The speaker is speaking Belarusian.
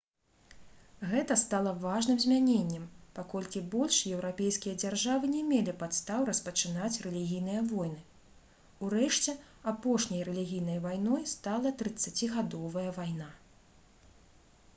гэта стала важным змяненнем паколькі больш еўрапейскія дзяржавы не мелі падстаў распачынаць рэлігійныя войны урэшце апошняй рэлігійнай вайной стала трыццацігадовая вайна